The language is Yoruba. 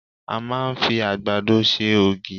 A máa ń fi àgbàdo ṣe ògì.